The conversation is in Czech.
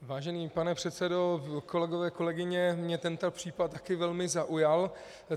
Vážený pane předsedo, kolegové, kolegyně, mě tento případ taky velmi zaujal.